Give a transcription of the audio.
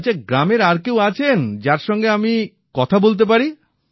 আচ্ছা গ্রামের আর কেউ আছেন যাঁর সঙ্গে আমি কথা বলতে পারি